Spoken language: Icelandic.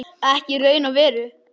Ekki í raun og veru.